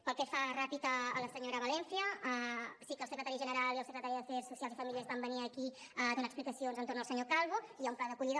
pel que fa ràpid a la senyora valencia sí que el secretari general i el secretari d’afers socials i famílies van venir aquí a donar explicacions entorn del senyor calvo i hi ha un pla d’acollida